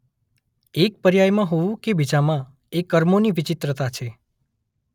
એક પર્યાયમાં હોવું કે બીજામાં એ કર્મોની વિચિત્રતા છે.